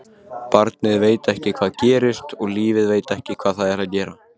Og barnið veit ekki hvað gerist og lífið veit ekki hvað það er að gera.